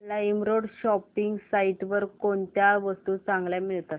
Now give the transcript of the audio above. LimeRoad shopping site वर कोणत्या वस्तू चांगल्या मिळतात